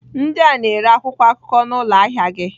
Ndị a na-ere akwụkwọ akụkọ n'ụlọ ahịa gị.